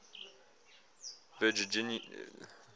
virginia contingent